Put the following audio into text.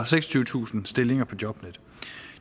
seksogtyvetusind stillinger på jobnetdk